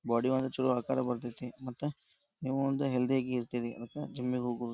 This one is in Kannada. ಬಾಡಿ ಒಂದ ಚಲೋ ಆಕಾರ ಬರತೈತಿ ಮತ್ತ ನೀವು ಒಂದ ಹೆಲ್ಥ್ಯ್ ಆಗಿ ಇರ್ತಿರಿ ಮತ್ತ ಜಿಮ್ ಗೆ ಹೋಗು --